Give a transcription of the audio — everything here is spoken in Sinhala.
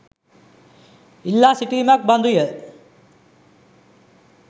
ඉල්ලා සිටීමක් බඳු ය.